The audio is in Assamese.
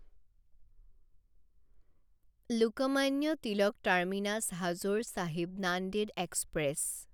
Lokmanya Tilak terminus Hazur Sahib Nanded express